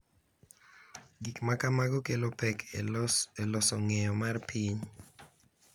Gik ma kamago kelo pek e loso ng’eyo mar piny